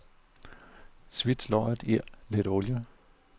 Svits løget i lidt olie.